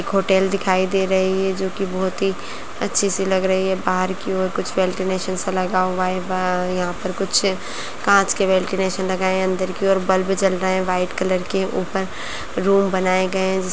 होटल दिखाई दे रही है जो की बहोत ही अच्छी सी लग रही है बाहर की ओर कुछ वेंटिलेशन सा लगा हुआ ब-यहाँ पर कुछ कांच के वेंटिलेशन लगाए हैं अंदर की ओर बल्ब जल रहे हैं व्हाइट कलर के ऊपर रूम बनाए गए हैं जिस --